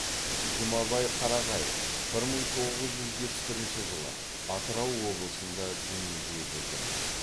жұмабай қарағаев бір мың тоғыз жүз жетпіс бірінші жылы атырау облысында дүниеге келген